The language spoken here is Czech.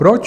Proč?